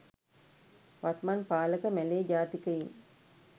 වත්මත් පාලක මැලේ ජාතිකයින්